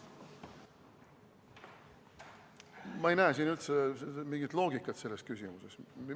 Ma ei näe üldse mingit loogikat selles küsimuses.